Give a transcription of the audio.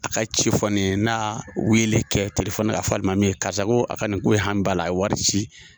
A ka ci fɔ ne ye n'a wele kɛ telefoni ka fɔ alimami ye karisa ko a ka nin ko hami b'ala la a ye wari ci